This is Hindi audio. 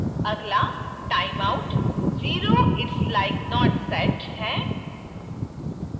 अगला time out 0 its like not set है